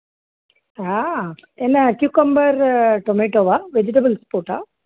ஆஹ் cucumber, tomato வா vegetables போட்டா